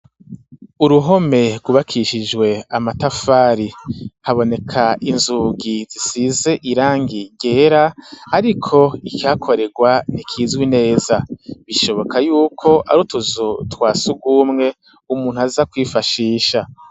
Uruhome rwubakishijwe amatafari haboneka inzugi zisize irangi ryera ariko ikiha korerwa ntikizwi neza bishoboka yuko arutuzu twasugumwe umuntu aza kwifashisha.